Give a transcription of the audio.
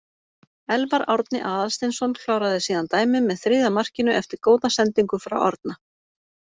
Elfar Árni Aðalsteinsson kláraði síðan dæmið með þriðja markinu eftir góða sendingu frá Árna.